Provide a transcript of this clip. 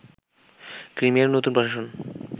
ক্রিমিয়ার নতুন প্রশাসন